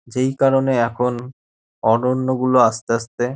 যেই কারণে এখন অরন্য গুলো আসতে আসতে --